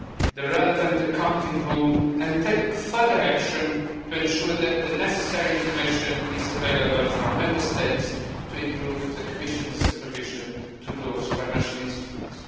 the relevant accounting rule and take further action to ensure that the necessary information is available from Member States to improve the Commission's supervision of those financial instruments.